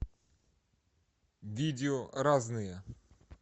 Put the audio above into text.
видео разные